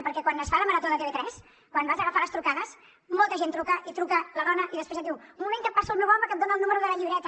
perquè quan es fa la maratóquan vas a agafar les trucades molta gent truca i truca la dona i després et diu un moment que et passo el meu home que et dona el número de la llibreta